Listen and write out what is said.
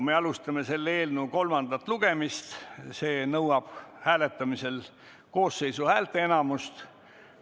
Me alustame selle eelnõu kolmandat lugemist, see nõuab hääletamisel koosseisu häälteenamust.